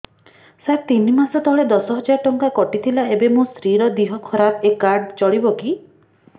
ସାର ତିନି ମାସ ତଳେ ଦଶ ହଜାର ଟଙ୍କା କଟି ଥିଲା ଏବେ ମୋ ସ୍ତ୍ରୀ ର ଦିହ ଖରାପ ଏ କାର୍ଡ ଚଳିବକି